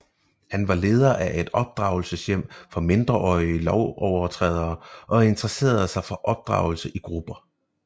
Han var leder af et opdragelseshjem for mindreårige lovovertrædere og interesserede sig for opdragelse i grupper